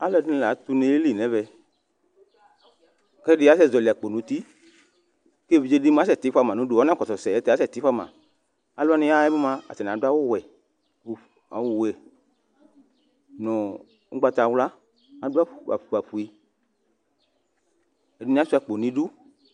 Alʋɛdini latʋ une yeli nʋ ɛvɛ kʋ ɛdi asɛzaɔli akpo nʋ uti kʋ evidze mʋa asɛti fʋama nʋ ʋdʋ asɛti fʋama alʋ wani yaxa yɛ bi mʋa atani adʋ awʋwɛ nʋ ʋgbatawla adʋ afʋkpafue ɛdini asuia akpo nʋ idʋ